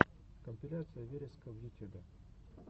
компиляция вереска в ютюбе